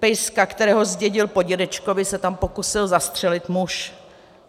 Pejska, kterého zdědil po dědečkovi, se tam pokusil zastřelit muž.